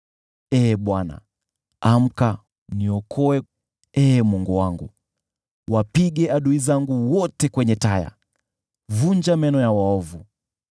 Ee Bwana , amka! Niokoe, Ee Mungu wangu! Wapige adui zangu wote kwenye taya, vunja meno ya waovu.